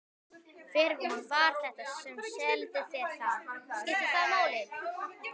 Hver var þetta sem seldi þér það? Skiptir það máli?